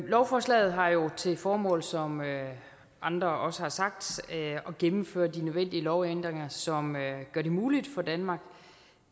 lovforslaget har jo til formål som andre også har sagt at gennemføre de nødvendige lovændringer som gør det muligt for danmark